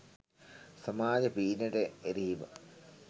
සමාජ පීඩනයට එරෙහිව